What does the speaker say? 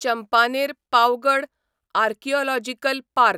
Champaner Pavagadh archaeological park